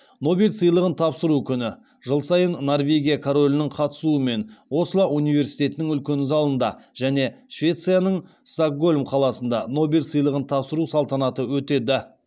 нобель сыйлығын тапсыру күні жыл сайын норвегия королінің қатысуымен осло университетінің үлкен залында және швецияның стокгольм қаласында нобель сыйлығын тапсыру салтанаты өтеді